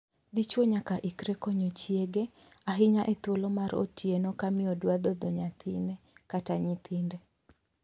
Dichwo nyaka ikre konyo chiege, ahinya to e thuolo mar otieno ka miyo dwa dhodho nyathine/nyithinde.